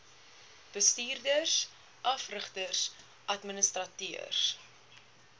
bestuurders afrigters administrateurs